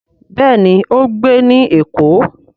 Béèni o ń gbé ní èkó.